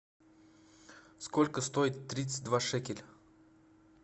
сколько стоит тридцать два шекеля